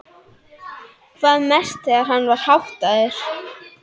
Hvað mest þegar hann var háttaður.